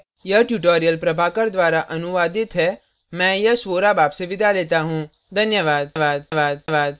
यह tutorial प्रभाकर द्वारा अनुवादित है मैं यश वोरा आपसे विदा लेता हूँ धन्यवाद